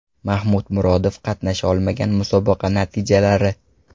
Mahmud Murodov qatnasha olmagan musobaqa natijalari.